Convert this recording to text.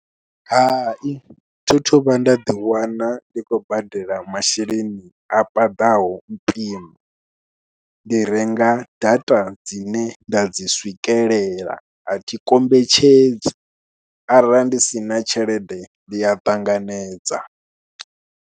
Hai thi thu vhuya nda ḓiwana ndi khou badela masheleni a paḓaho mpimo, ndi renga data dzine nda dzi swikelela a thi kombetshedzi arali ndi si na tshelede ndi a ṱanganedza.